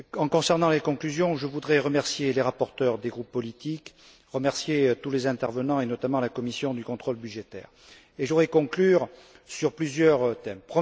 Concernant les conclusions, je voudrais remercier les rapporteurs des groupes politiques, remercier tous les intervenants, et notamment la commission du contrôle budgétaire, et je voudrais conclure sur plusieurs thèmes.